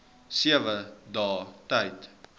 sewe dae tyd